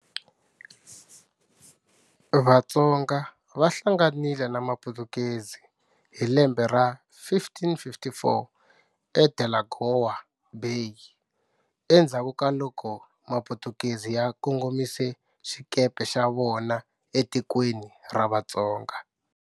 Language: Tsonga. Vatsonga va hlanganile na maputukezi hi lembe ra 1554 eDelagoa Bay, endzhaku ka loko maputukezi ya kongomise xikepe xa vona etikweni ra Vatsonga.